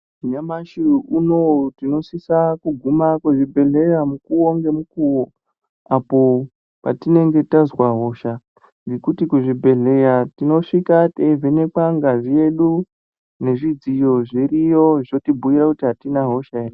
Nyamashi unowu tinosisa kuguma kuzvibhedhleya mukuwo ngemukuwo apo petinenge tazwa hosha ngekuti kuzvibhedhleya tinosvika teivhenwkwa ngazi yedu ngezvidziyo zviriyo zvotinhuira kuti atina hosha ere.